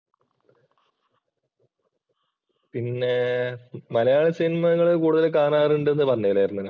പിന്നെ മലയാള സിനിമ നിങ്ങളുടെ കൂടുതൽ കാണാറുണ്ടെന്ന് പറഞ്ഞില്ലാരുന്നേനാ.